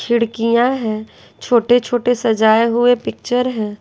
खिड़कियाँ हैं छोटे-छोटे सजाए हुए पिक्चर है।